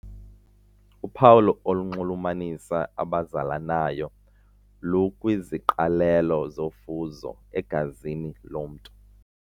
Uphawu olunxulumanisa abazalanayo lukwiziqalelo zofuzo egazini lomntu.